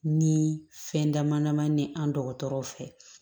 Ni fɛn dama dama ni an dɔgɔtɔrɔw fɛ